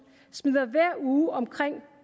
smider hver uge omkring